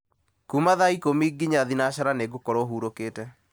kuma thaa ikũmi nginya thinacara nĩgũkorwo hurũkĩte